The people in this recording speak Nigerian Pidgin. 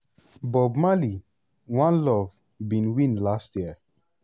bob marley: one love bin win last year.